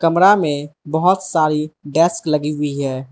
कमरा में बहोत सारी डेस्क लगी हुई है।